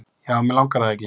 já en mig langar það ekki